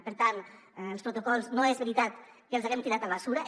per tant els protocols no és veritat que els haguem tirat a les escombraries